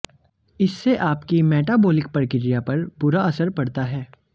इससे आपकी मेटाबॉलिक प्रक्रिया पर बुरा असर पड़ता है